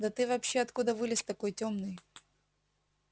да ты вообще откуда вылез такой тёмный